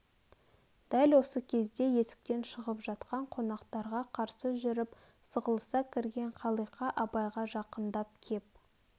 дәл осы кезде есктен шығып жатқан қонақтарға қарсы жүріп сығылыса кірген қалиқа абайға жақындап кеп